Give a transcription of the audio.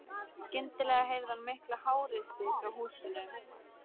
Skyndilega heyrði hann mikla háreysti frá húsinu.